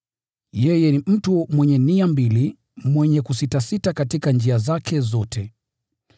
Yeye ni mtu mwenye nia mbili, mwenye kusitasita katika njia zake zote.